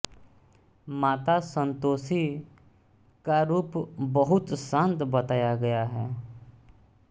माता संतोषी का रूप बहुत शान्त बताया गया है